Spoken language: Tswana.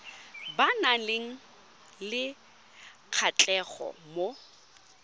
ba nang le kgatlhego mo